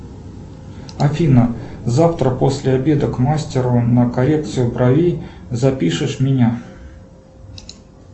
афина завтра после обеда к мастеру на коррекцию бровей запишешь меня